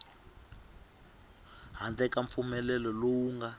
handle ka mpfumelelo lowu nga